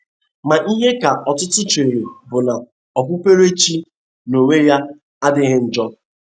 Ma ihe ka ọtụtụ chere bụ na okpukpere chi n’onwe ya adịghị njọ.